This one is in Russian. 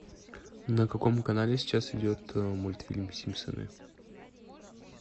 на каком канале сейчас идет мультфильм симпсоны